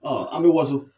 an bɛ waso